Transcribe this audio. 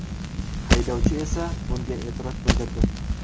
Haydovchi esa bunga e’tiroz bildirdi.